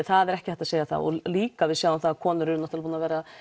það er ekki hægt að segja það líka við sjáum það að konur eru búnar að vera